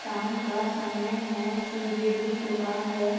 शाम का समय है सूर्य डूब चुका हैं।